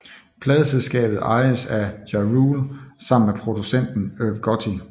Pladeselskabet ejes af Ja Rule sammen med producenten Irv Gotti